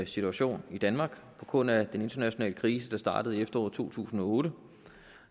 situation i danmark på grund af den internationale krise der startede i efteråret to tusind og otte